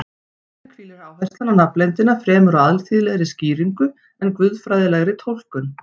Þannig hvílir áherslan á nafnleyndina fremur á alþýðlegri skýringu en guðfræðilegri túlkun.